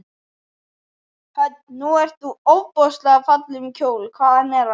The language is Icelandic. Hödd: Nú ert þú ofboðslega fallegum kjól, hvaðan er hann?